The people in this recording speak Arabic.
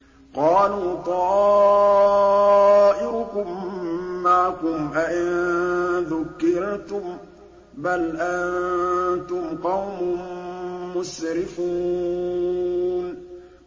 قَالُوا طَائِرُكُم مَّعَكُمْ ۚ أَئِن ذُكِّرْتُم ۚ بَلْ أَنتُمْ قَوْمٌ مُّسْرِفُونَ